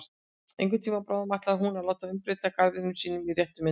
Einhvern tíma bráðum ætlar hún að láta umbreyta garðinum í sína réttu mynd.